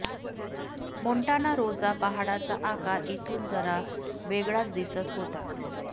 Montana Rosa पहाडाचा आकार इथून जरा वेगळाच दिसत होता